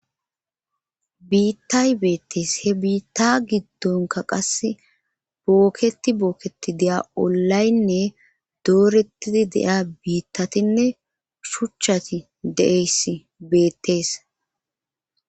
biittay beettees he biitta giddonka qase bookketi booketi deya ollaynne doorettidi de7a biittatinne shuchchati deeyss beettees